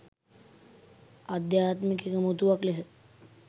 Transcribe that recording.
අධ්‍යාත්මිත එකමුතුවක් ලෙසය.